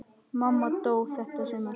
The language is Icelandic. Mamma dó þetta sumar.